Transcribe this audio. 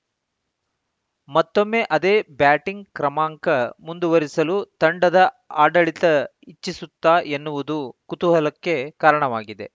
ಮತ್ತೊಮ್ಮೆ ಅದೇ ಬ್ಯಾಟಿಂಗ್‌ ಕ್ರಮಾಂಕ ಮುಂದುವರಿಸಲು ತಂಡದ ಆಡಳಿತ ಇಚ್ಛಿಸುತ್ತಾ ಎನ್ನುವುದು ಕುತೂಹಲಕ್ಕೆ ಕಾರಣವಾಗಿದೆ